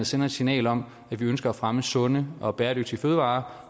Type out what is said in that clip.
sende et signal om at vi ønsker at fremme sunde og bæredygtige fødevarer